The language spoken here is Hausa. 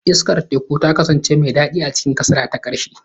Iskar teku ta kasance mai daɗi a cikin kasada ta ƙarshe.